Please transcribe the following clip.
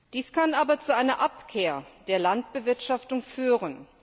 Dies kann aber zu einer Abkehr von der Landbewirtschaftung führen.